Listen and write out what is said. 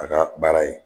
A ka baara ye